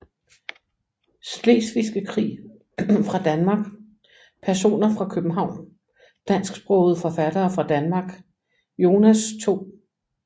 Slesvigske Krig fra Danmark Personer fra København Dansksprogede forfattere fra Danmark Jonas 2